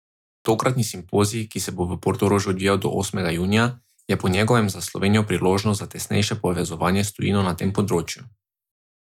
Tokratni simpozij, ki se bo v Portorožu odvijal do osmega junija, je po njegovem za Slovenijo priložnost za tesnejše povezovanje s tujino na tem področju.